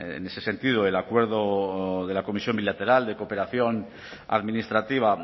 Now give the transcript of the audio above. en ese sentido el acuerdo de la comisión bilateral de cooperación administrativa